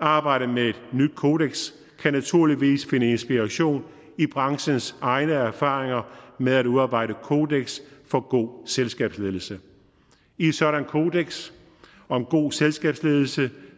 arbejdet med et nyt kodeks kan naturligvis finde inspiration i branchens egne erfaringer med at udarbejde kodeks for god selskabsledelse i et sådant kodeks om god selskabsledelse